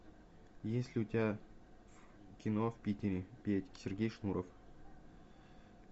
есть ли у тебя кино в питере петь сергей шнуров